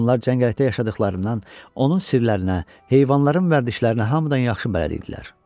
Onlar cəngəllikdə yaşadıqlarından onun sirlərinə, heyvanların vərdişlərinə hamıdan yaxşı bələd idilər.